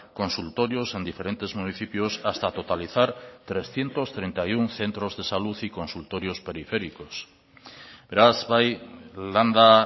consultorios en diferentes municipios hasta totalizar trescientos treinta y uno centros de salud y consultorios periféricos beraz bai landa